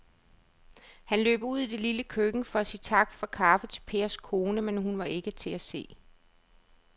Han løb ud i det lille køkken for at sige tak for kaffe til Pers kone, men hun var ikke til at se.